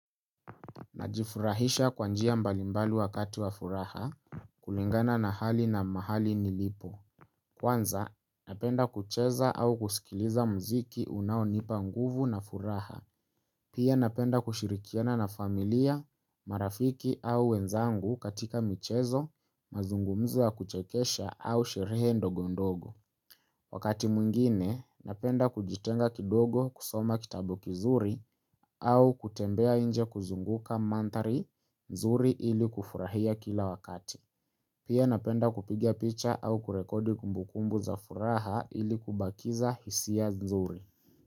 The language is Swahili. Najifurahisha kwa njia mbali mbali wakati wa furaha, kulingana na hali na mahali nilipo. Kwanza, napenda kucheza au kusikiliza muziki unaonipa nguvu na furaha. Pia napenda kushirikiana na familia, marafiki au wenzangu katika michezo, mazungumzo wa kuchekesha au sherehe ndogo ndogo. Wakati mwingine, napenda kujitenga kidogo kusoma kitabu kizuri au kutembea inje kuzunguka manthari nzuri ili kufurahia kila wakati. Pia napenda kupiga picha au kurekodi kumbukumbu za furaha ili kubakiza hisia nzuri.